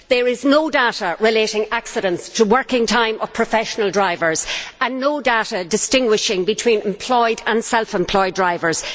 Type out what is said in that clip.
There is no data relating accidents to the working time of professional drivers and no data distinguishing between employed and self employed drivers.